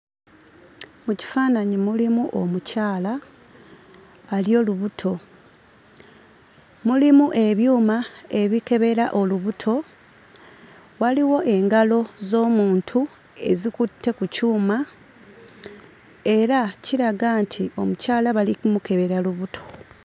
Mu kifaananyi mulimu omukyala ali olubuto, mulimu ebyuma ebikebera olubuto, waliwo engalo z'omuntu ezikutte ku kyuma era kiraga nti omukyala bali mu kumukebera lubuto.